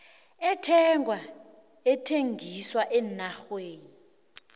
ethengwa ethengiswa eenarheni